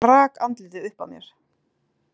Og rak andlitið upp að mér.